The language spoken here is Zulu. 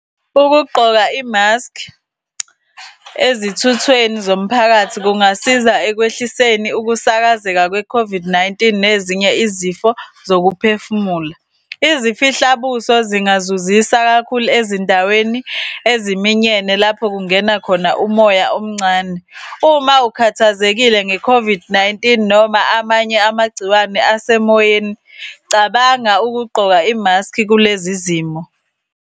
Ukugqoka imaskhi ezithuthweni zomphakathi kungasiza ekwehliseni ukusakazeka kwe-COVID-19 nezinye izifo zokuphefumula izifo. Izifihlabuso zingazuzisa kakhulu ezindaweni eziminyene lapho kungena khona umoya omncane. Uma ukhathazekile nge-COVID-19 noma amanye amagciwane asemoyeni, cabanga ukugqoka imaskhi kulezi zimo.